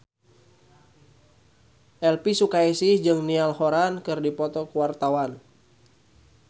Elvy Sukaesih jeung Niall Horran keur dipoto ku wartawan